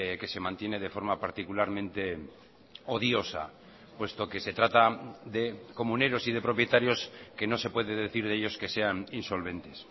que se mantiene de forma particularmente odiosa puesto que se trata de comuneros y de propietarios que no se puede decir de ellos que sean insolventes